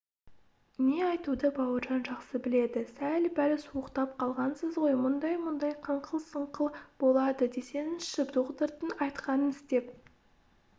не айтуды бауыржан жақсы біледі сәл-пәл суықтап қалғансыз ғой мұндай-мұндай қыңқыл-сыңқыл болады десеңізші доғдырдың айтқанын істеп